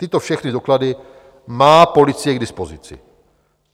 Tyto všechny doklady má policie k dispozici.